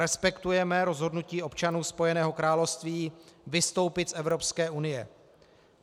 Respektujeme rozhodnutí občanů Spojeného království vystoupit z Evropské unie.